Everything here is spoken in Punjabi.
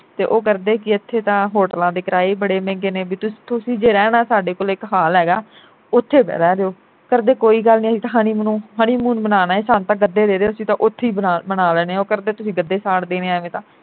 ਤੇ ਉਹ ਕਰਦੇ ਕੀ ਇਥੇ ਤਾਂ ਹੋਟਲਾਂ ਦੇ ਕਿਰਾਏ ਈ ਬੜੇ ਮਹਿੰਗੇ ਨੇ ਬਈ ਤੁਸੀ ਜੇ ਰਹਿਣਾ ਸਾਡੇ ਕੋਲ ਇਕ ਹਾਲ ਹੈਗਾ ਉਥੇ ਰਹਿ ਦਿਓ ਕਰਦੇ ਕੋਈ ਗੱਲ ਨਹੀਂ ਅਹੀ ਤਾਂ ਹਨੀਮਨੂਨ honeymoon ਮਨਾਉਣ ਆਏ ਸਾਨੂੰ ਤਾਂ ਗੱਦੇ ਦੇ ਦੋ ਅਸੀਂ ਤਾ ਉਥੇ ਈ ਮਨਾ ਮਨਾਲੇਨੇ ਆ। ਉਹ ਕਰਦੇ ਤੁਸੀਂ ਗੱਦੇ ਸਾੜ ਦੇਣੇ ਐਵੇਂ ਤਾ